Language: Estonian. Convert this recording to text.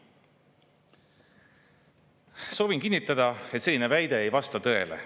Soovin kinnitada, et selline väide ei vasta tõele.